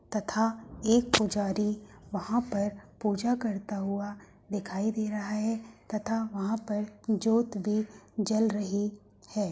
तथा एक पुजारी वहाँं पर पूजा करता हुआ दिखाई दे रहा है तथा वहाँं पर जोत भी जल रही है।